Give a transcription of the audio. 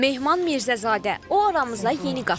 Mehman Mirzəzadə, o aramıza yeni qatılıb.